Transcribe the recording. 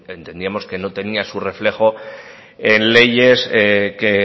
entendíamos que no tenía su reflejo en leyes que